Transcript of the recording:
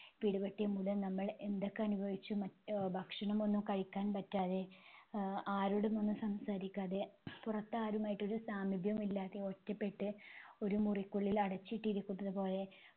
പിടിപെട്ടമൂലം നമ്മൾ എന്തൊക്കെ അനുഭവിച്ചു ആഹ് ഭക്ഷണമൊന്നും കഴിക്കാൻ പറ്റാതെ ആഹ് ആരോടും ഒന്നും സംസാരിക്കാതെ പുറത്ത് ആരുമായിട്ട് ഒരു സാമീപ്യമില്ലാതെ ഒറ്റപ്പെട്ട് ഒരുമുറിക്കുള്ളിൽ അടച്ചിട്ടിരിക്കുന്നതുപോലെ